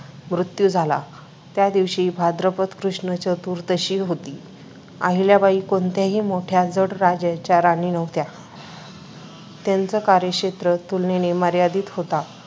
मृत्यू झाला त्या दिवशी भाद्रपद कृष्ण चतुर्दशी होती. आहिल्याबाई कोणत्याही मोठ्या जड जागेच्या राणी नव्हत्या त्यांचा कार्यक्षेत्र तुलनेने मर्यादित होता.